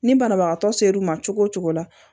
Ni banabagatɔ ser'u ma cogo o cogo la